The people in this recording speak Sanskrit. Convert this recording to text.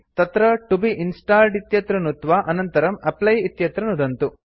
तत्र तो बे इंस्टॉल्ड इत्यत्र नुत्त्वा अनन्तरं एप्ली इत्यत्र नुदन्तु